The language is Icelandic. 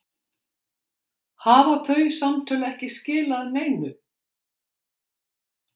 Hafa þau samtöl ekki skilað neinu?